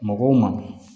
Mɔgɔw ma